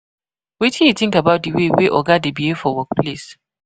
Wetin you think about di way wey oga dey behave for workplace?